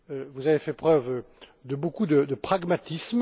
Vous avez fait preuve de beaucoup de pragmatisme.